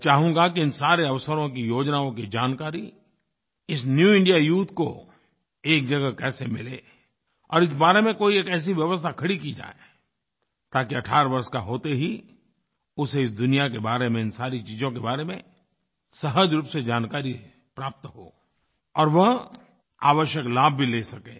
मैं चाहूँगा कि इन सारे अवसरों की योजनाओं की जानकारी इस न्यू इंडिया यूथ को एक जगह कैसे मिले और इस बारे में कोई एक ऐसी व्यवस्था खड़ी की जाए ताकि 18 वर्ष का होते ही उसे इस दुनिया के बारे में इन सारी चीज़ों के बारे में सहज रूप से जानकारी प्राप्त हो और वह आवश्यक लाभ भी ले सके